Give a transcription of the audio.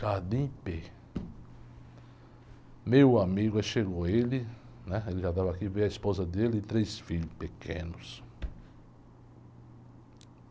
Meu amigo, aí chegou ele, né? Ele já estava aqui, veio a esposa dele e três filhos pequenos.